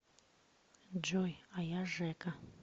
джой а я жэка